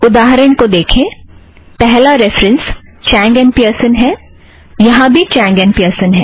उदाहरण को देखें पहला रेफ़रन्स चैंग और पियर्सन है यहाँ भी चैंग और पियर्सन है